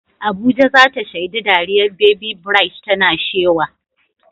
Abuja za ta shaidi dariyar Baby Bright tana shewa.